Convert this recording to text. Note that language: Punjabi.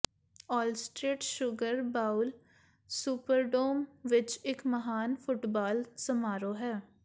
ਔਲਸਟੇਟ ਸ਼ੂਗਰ ਬਾਊਲ ਸੁਪਰਡੌਮ ਵਿਚ ਇਕ ਮਹਾਨ ਫੁਟਬਾਲ ਸਮਾਰੋਹ ਹੈ